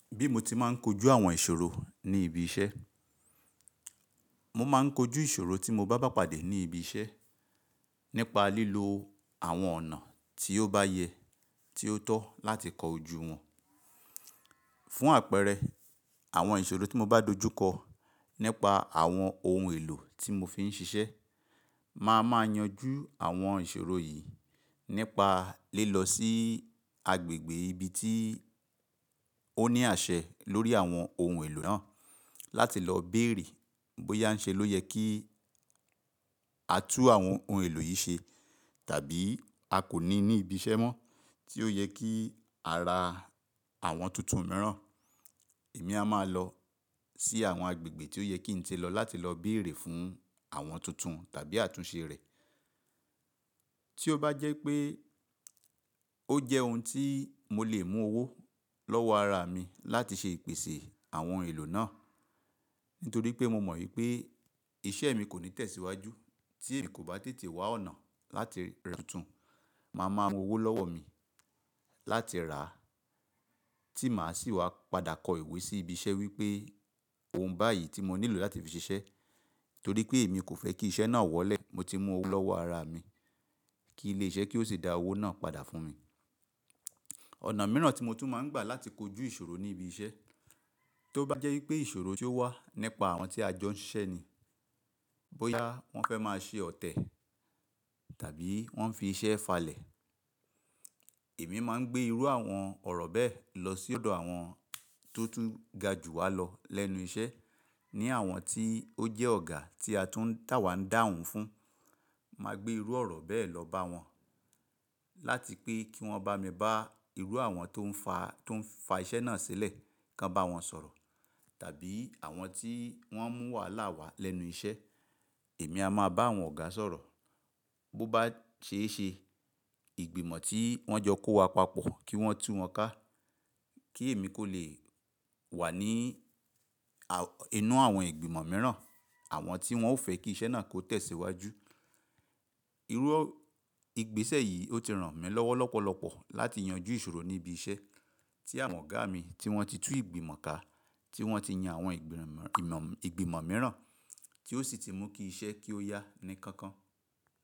Bí mo ti máa ń kojú àwọn ìṣòro ní ibi iṣẹ́. Mo máa ń kojú ìṣòro tí mo bá bá pàdé ní ibi iṣẹ́ nípa lílo àwọn ọ̀nà tí ó bá yẹ, tí ó tọ́ láti kọjú wọn. Fún àpẹẹrẹ, àwọn ìṣòro tí mo bá dojú kọ nípa àwọn ohun èlò tí mo fi ń ṣiṣẹ́, màá máa yanjú àwọn ìṣòro yìí nípa lé e lọ sí agbègbè ibi tí ó ní àṣẹ lórí àwọn ohun èlò náà láti lọ bèrè bóyá ń ṣe ló yẹ kí a tú àwọn ohun èlò yìí ṣe tàbí a kò ní ní ibi iṣẹ́ mọ́ tí ó yẹ kí a ra àwọn tuntun mìíràn. Èmi a máa lọ sí àwọn agbègbè tí ó yẹ kí ń tẹ lọ láti lọ bèrè fún àwọn tuntun tàbí àtúnṣe rẹ̀. Tí ó bá jẹ́ pé ó jẹ́ ohun tí mo lè mú owó lọ́wọ́ ara mi láti ṣe ìpèsè àwọn ohun èlò náà, nítorí pé mo mọ̀ wípé iṣẹ́ mi kò ní tẹ̀síwájú tí èmi kò bá tètè wá ọ̀nà láti ra tuntun, màá máa mú owó lọ́wọ́ mi láti rà á tí màá sì wá padà kọ ìwé sí ibi iṣẹ́ wípé ohun báyìí tí mo nílò láti fi ṣiṣẹ́, torí pé èmi kò fẹ́ kí iṣẹ́ náà wọlé, mo ti mú owó lọ́wọ́ ara mi kí ilé iṣẹ́ kí ó sì dá owó náà padà fún mi. Ọ̀nà mìíràn tí mo tún máa ń gbà láti kojú ìṣòro ní ibi iṣẹ́, tó bá jẹ́ wípé ìṣòro tí ó wà nípa àwọn tí a jọ ń ṣiṣẹ́ ni, bóyá wọ́n fẹ́ máa ṣe ọ̀tẹ̀ tàbí wọ́n ń fi iṣẹ́ falẹ̀. Èmi máa ń gbe irù ọ̀rọ̀ bẹ́ẹ̀ lo si odo àwọn to tun ga ju walo lens iṣẹ́ ni àwọn tí ó jẹ́ ọ̀gá tí a tún tàwa ń dáhùn fún, màá gbé irú ọ̀rọ̀ bẹ́ẹ̀ lọ bá wọn láti pé kí wọ́n bá mi bá irú àwọn tó ń fa, tó ń fa iṣẹ́ náà sílẹ̀ kan bá wọn sọ̀rọ̀. Tàbí àwọn tí won mu wàhálà wa lẹ́nu iṣẹ́ èmi a máa bá àwọn ọ̀gá sọ̀rọ̀. Bo bá ṣe é ṣe, ìgbìmọ̀ tí wọ́n jọ kó wa papọ̀ kí wọ́n tú wọn ká kí èmi kò lè wà ní inú àwọn ìgbìmọ̀ mìíràn, àwọn tí wọn ò fẹ́ kí iṣẹ́ náà kó tẹ̀síwájú. Irú ìgbésẹ̀ yìí ó ti ràn mí lọ́wọ́ lọ́pọ̀lọpọ̀ láti yanjú ìṣòro ní ibi iṣẹ́ tí àwọn ọ̀gá mi tí wọ́n ti tú ìgbìmọ̀ ká, tí wọ́n ti yan àwọn ìgbìmọ̀ mìíràn tí ó sì ti mú kí iṣẹ́ kí ó yá ní kankan.